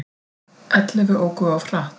Ellefu óku of hratt